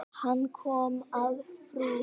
Hann kom að frú